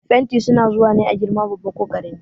Fenti su na zuwa ne a girma babba ko karami.